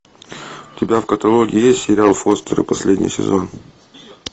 у тебя в каталоге есть сериал фостеры последний сезон